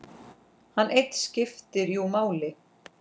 Hann einn skipti jú máli.